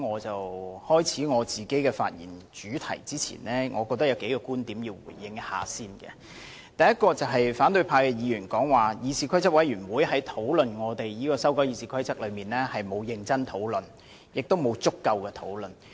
在我開始發言前，我認為有需要先回應多個觀點。第一，反對派議員表示，議事規則委員會在修改《議事規則》一事上沒有進行認真及足夠的討論。